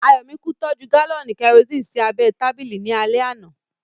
Ayọ̀míkún tọ́jú gálọ̀nì kẹrosini sí abẹ́ ẹ tábìlì ní alẹ́ àná